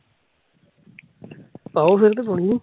ਪਾਉ ਫਿਲ ਤੇ ਪਾਉਣੀ ਐ